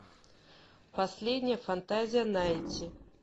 последняя фантазия найти